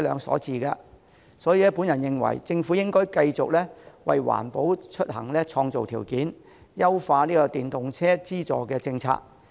所以，我認為政府應該繼續為環保出行創造條件，優化電動車資助政策。